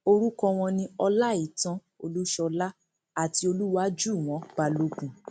orúkọ wọn ni ọláìtàn olúṣọlá àti olùwájúwọn balógun